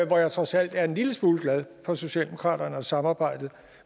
jeg trods alt er en lille smule glad for socialdemokratiet og samarbejdet